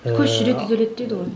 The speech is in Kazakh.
ыыы көш жүре түзеледі дейді ғой